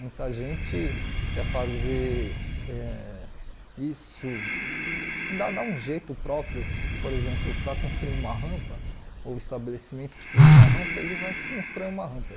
Muita gente quer fazer eh isso, dar dar um jeito próprio, por exemplo, para construir uma rampa, ou o estabelecimento precisa de uma rampa, ele vai constrói uma rampa.